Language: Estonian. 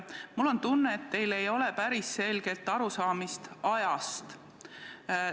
Mul on tunne, et teil ei ole päris selget arusaamist ajast.